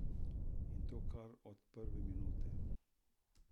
In to kar od prve minute.